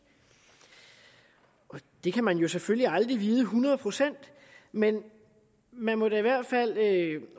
det kan man jo selvfølgelig aldrig vide hundrede procent men man må da i hvert fald